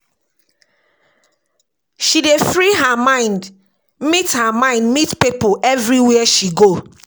She dey free her mind meet her mind meet pipo everywhere she go.